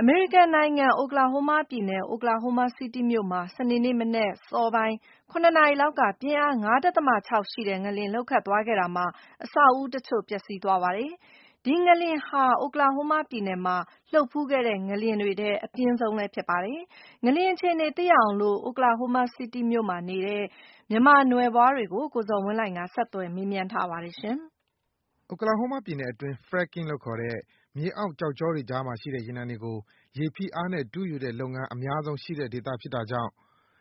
အမေရိကန်နိုင်ငံ၊ Oklahoma ပြည်နယ်က Oklahoma City မြို့မှာ စနေနေ့မနက် အစောပိုင်း ၇ နာရီသာသာလောက်က ပြင်းအား ၅.၆ ရှိတဲ့ ငလျင်လှုပ်သွားခဲ့တာမှာ အဆောက်အဦးတချို့ ပျက်ဆီးသွားခဲ့ပါတယ်။ ဒီငလျင်ဟာ Oklahoma ပြည်နယ်မှာ လှုပ်ဖူးတဲ့ ငလျင်တွေထဲမှာ အပြင်းဆုံးတခုလည်းဖြစ်ပါတယ်။ အခုလှုပ်သွားတဲ့ ငလျင် အခြေအနေသိရအောင် Oklahoma City မြို့မှာ ရှိနေတဲ့ မြန်မာနွယ်ဖွားတွေ ကို ကိုဇော်ဝင်းလှိုင်က ဆက်သွယ် မေးမြန်းထားပါတယ်။ Oklahoma ပြည်နယ်အတွင်း Fracking လို့ခေါ် တဲ့ မြေအောက် ကျောက်ေ ကြာေ တွကြားမှာရှိတဲ့ ရေနံတွေကို ရေဖိအားနဲ့ တူးယူတဲ့လုပ်ငန်း အများဆုံး ရှိတဲ့ ဒေသြ ဖစ်တာကြောင့်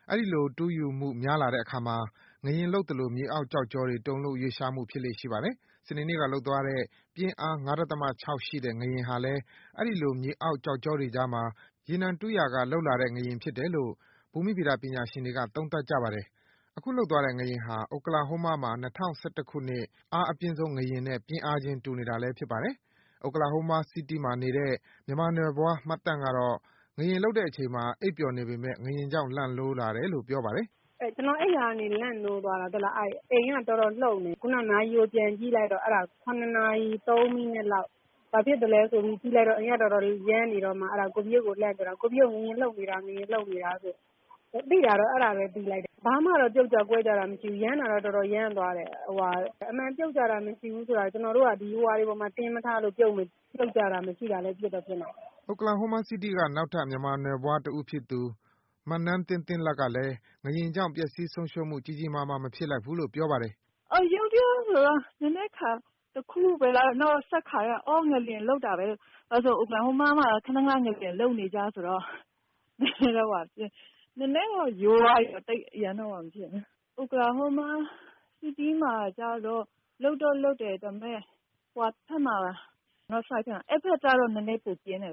အဲဒီလို ထူးယူမှု များလာတဲ့အခါမှာ ငလျင်လှုပ် သလို မြေအောက် ကျောက်ကြောတွေ တုန်လှုပ် ရွေ့လျားမှု ဖြစ်လေ့ရှိပါတယ်။ စနေနေ့က လှုပ်သွားတဲ့ ပြင်းအား ၅.၆ ရှိတဲ့ ငလျင်ဟာလည်း အဲဒီ လို မြေအောက် ကျောက်ကြောတွေကြားမှာ ရေနံတူးရာက လှုပ်လာတဲ့ ငလျင်ဖြစ်တယ်လို့ ဘူမိဗေဒပညာရှင်တွေက သုံးသပ်ကြပါတယ်။ အခု လှုပ်သွားတဲ့ ငလျင်ဟာ Oklahoma မှာ ၂၀၁၁ ခုနှစ် နိုဝင်ဘာလက လှုပ်သွားတဲ့ အားအပြင်းဆုံး ငလျင်နဲ့ ပြင်းအားချင်း တူနေတာလည်း ဖြစ်ပါတယ်။ Oklahoma City မှာနေတဲ့ မြန်မာနွယ်ဖွား မသန့်ကတော့ ငလျင်လှုပ်တဲ့အချိန်မှာ အိပ်ပျော်နေပေမယ့် ငလျင်ကြောင့် လန့်နိုးလာတယ်လို့ ပြောပါတယ်။ “အိပ်ရာကနေ လန့်နိုးသွားတယ်။ အိမ်က တော်တော်လှုပ်နေတယ်။ နာရီကိုပြန်ကြည့်လိုက်တော့၇နာရီ ၃ မိနစ်လောက်၊ ဘာဖြစ်သလဲ ဆိုပြီးကြည့်လိုက်တော့ အိမ်က တော်တော်ရမ်းနေတယ်။ အဲဒါနဲ့ ငလျင်လှုပ်နေတယ်ဆိုပြီး လှမ်းအော်မိတယ်။ ဘာမှ ပြုတ်ကျကွဲကျတာမျိုးတော့ မရှိဘူး။ ရမ်းတာ ကတော့ တော်တော် ရမ်းသွားတယ်။ ” Oklahoma City က နောက်ထပ် မြန်မာနွယ်ဖွားတဦးဖြစ်သူ မနန်းသင်းသင်းလတ်ကလည်း ငလျင်ကြောင့် ပျက်ဆီး ဆုံးရှုံးမှု ကြီးကြီးမားမား မဖြစ်လိုက်ဘူးလို့ ပြောပါတယ်။ “ရုတ်တရက်ဆိုတော့ နဲနဲခါသွားတယ်။ နောက်ဆက်ခါတော့ ငလျင်လှုပ်တာပဲဆိုပြီး၊ ဘာလို့လဲဆိုတော့ Oklahoma မှာက ခဏခဏ ငလျင်လှုပ်နေကြဆိုတော့ နဲနဲတော့ ရိုးသွားပြီ။ Oklahoma City မှာကြတော့ လှုပ်တော့ လှုပ်တယ်။ မြောက်ဖက်မှာ ပိုပြင်းတယ်။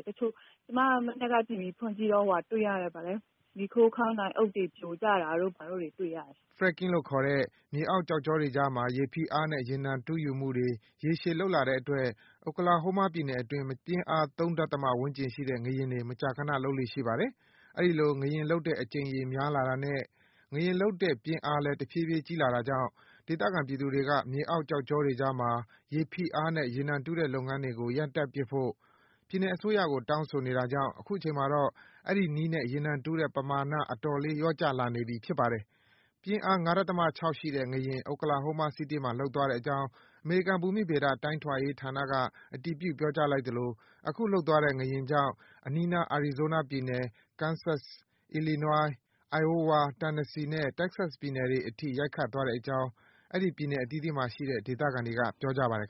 ” Fracking လို့ခေါ်တဲ့ မြေအောက် ကျောက်ကြောတွေကြား မှာ ရေဖိအား နဲ့ ရေနံတူးယူမှုတွေ ရေရှည် လုပ်လာတဲ့အတွက် Oklahoma ပြည်နယ်အတွင်း မကြာခနဆိုသလို ပြင်းအား ၃ ဒဿမဝန်းကျင်ရှိတဲ့ ငလျင်တွေ မကြာခန လှုပ်လေ့ရှိပါတယ်။ အဲဒီလို ငလျင်လှုပ်တဲ့ အကြိမ်ရေများလာတာနဲ့ ငလျင်လှုပ်တဲ့ ပြင်းအားလည်း တဖြည်းဖြည်း ကြီးလာတာကြောင့် ဒေသ ခံ ပြည်သူတွေ က မြေအောက် ကျောက်ကြောတွေကြားမှာ ရေဖိအားနဲ့ ရေနံတူးတဲ့ လုပ်ငန်းတွေကို ရပ်တန့်ပစ်ဖို့ ပြည်နယ်အစိုးရကို တောင်းဆိုနေတာကြောင့် အခုချိန်မှာတော့ အဲဒီနည်းနဲ့ ရေနံတူးတဲ့ ပမာဏ အတော်လေး လျော့ကျလာနေပြီ ဖြစ်ပါတယ်။ ပြင်းအား ၅.၆ ရှိတဲ့ ငလျင် Oklahoma City မှာ လှုပ်သွားတဲ့အကြောင်း အမေရိကန်ဘူမိဗေဒ တိုင်းထွာရေးဌာနက အတည်ပြု ပြောကြားလိုက်သလို အခု လှုပ်သွားတဲ့ ငလျင်ကြောင့် အနီးနား Arizona ပြည်နယ်အပြင် Kansas ၊ Illinois ၊ Iowa ၊ Tennessee နဲ့ Texas ပြည်နယ်အတွင်းတွေအထိ ရိုက်ခတ်သွား တဲ့အကြောင်း အဲဒီ ပြည်နယ် အသီးသီးမှာ ရှိတဲ့ ဒေသခံတွေက ပြောပါတယ်